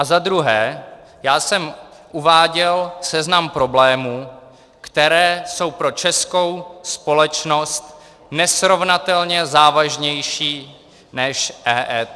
A za druhé, já jsem uváděl seznam problémů, které jsou pro českou společnost nesrovnatelně závažnější než EET.